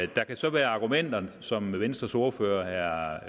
der kan så være argumenter som venstres ordfører herre